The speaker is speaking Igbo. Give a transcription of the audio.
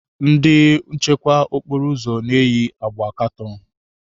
Ndị nchekwa okporo ụzọ na-eyi agba katọn.